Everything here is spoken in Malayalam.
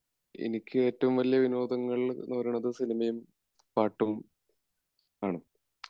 എനിക്കി ഏറ്റവും വലിയ വിനോദങ്ങൾ എന്ന് പറയുന്നത് സിനിമയും പാട്ടും ആണ്